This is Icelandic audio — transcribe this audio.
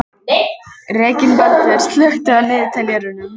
Reginbaldur, slökktu á niðurteljaranum.